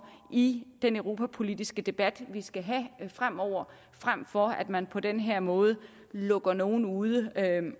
i den europapolitiske debat vi skal have fremover frem for at man på den her måde lukker nogle ude